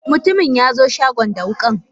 Mutumin yaxo shagon da wukan